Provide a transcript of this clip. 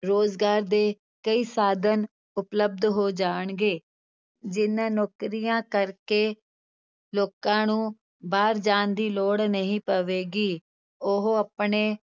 ਰੋਜ਼ਗਾਰ ਦੇ ਕਈ ਸਾਧਨ ਉਪਲਬਧ ਹੋ ਜਾਣਗੇ, ਜਿਹਨਾਂ ਨੌਕਰੀਆਂ ਕਰਕੇ ਲੋਕਾਂ ਨੂੰ ਬਾਹਰ ਜਾਣ ਦੀ ਲੋੜ ਨਹੀਂ ਪਵੇਗੀ, ਉਹ ਆਪਣੇ